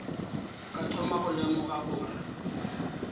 ka thoma go lemoga gore